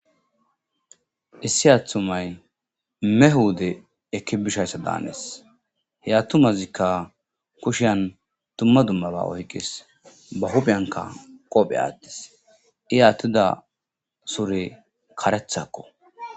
Issi aaththumay me huude ekki bishayssa daanes he attumazikka kushian tumma dummaba woykis ba huphiyanka qophe attis i aattida sure karethakko.